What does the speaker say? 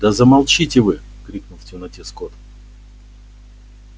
да замолчите вы крикнул в темноте скот